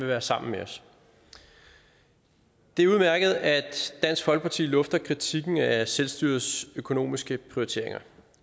være sammen med os det er udmærket at dansk folkeparti lufter kritikken af selvstyrets økonomiske prioriteringer